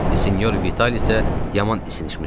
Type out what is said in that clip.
Senyor Vital isə yaman isinişmişdi.